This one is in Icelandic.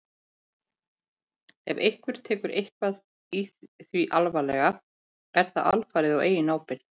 Ef einhver tekur eitthvað í því alvarlega er það alfarið á eigin ábyrgð.